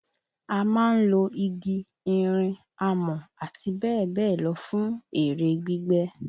A máa ń lo igi, irin, amọ̀ àtibẹ́ẹ̀bẹ́ẹ̀lọ fún èrè gbígbẹ̀.